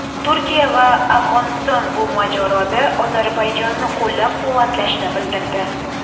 Turkiya va Afg‘oniston bu mojaroda Ozarbayjonni qo‘llab-quvvatlashni bildirdi.